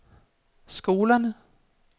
skolerne